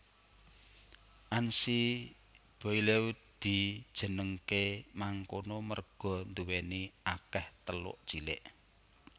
Anse Boileau dijenengké mangkono merga nduwèni akèh teluk cilik